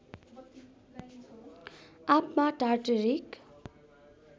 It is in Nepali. आँपमा टार्टरिक